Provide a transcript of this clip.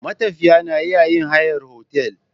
Matafiya na iya yin hayar otal.